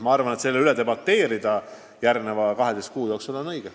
Ma arvan, et on õige selle üle järgmise 12 kuu jooksul debateerida.